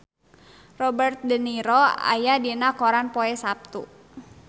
Robert de Niro aya dina koran poe Saptu